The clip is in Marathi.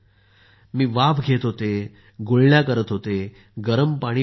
मी वाफ घेत होते गुळण्या करत होते आणि गरम पाणी पीत होते